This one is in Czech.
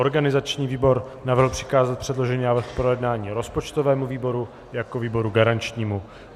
Organizační výbor navrhl přikázat předložený návrh k projednání rozpočtovému výboru jako výboru garančnímu.